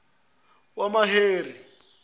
wamaheri